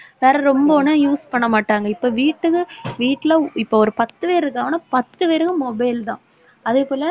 வேற ரொம்ப ஒண்ணா use பண்ண மாட்டாங்க. இப்ப வீட்டுக்கு வீட்ல இப்ப ஒரு பத்து பேரு இருக்காங்கன்னா பத்து பேருக்கும் mobile தான். அதே போல